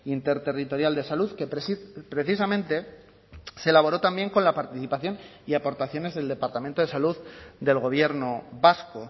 interterritorial de salud que precisamente se elaboró también con la participación y aportaciones del departamento de salud del gobierno vasco